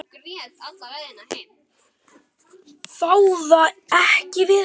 Ráða ekki við hann.